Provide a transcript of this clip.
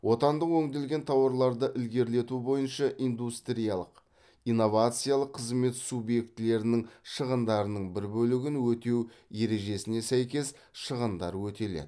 отандық өңделген тауарларды ілгерілету бойынша индустриялық инновациялық қызмет субъектілерінің шығындарының бір бөлігін өтеу ережесіне сәйкес шығындар өтеледі